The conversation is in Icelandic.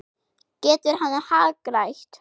Getur hann hagrætt?